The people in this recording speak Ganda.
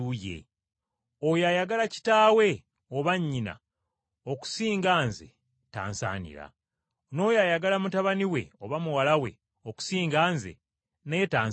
“Oyo ayagala kitaawe oba nnyina okusinga Nze tansaanira, n’oyo ayagala mutabani we oba muwala we okusinga Nze naye tansaanira.